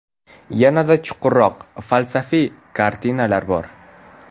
Yanada chuqurroq, falsafiy kartinalar bor.